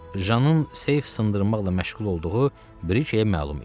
Jannın seif sındırmaqla məşğul olduğu Brikəyə məlum idi.